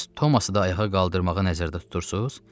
Bəs Toması da ayağa qaldırmağı nəzərdə tutursuz?